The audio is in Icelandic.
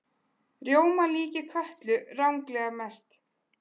Rjómalíki Kötlu ranglega merkt